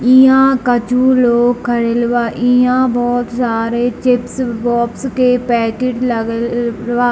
इहां कछु लोग खड़ेलबा इहां बहुत सारे चिप्स बॉक्स के पैकेट लागल बा।